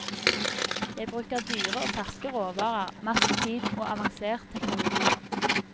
Jeg bruker dyre og ferske råvarer, masse tid og avansert teknologi.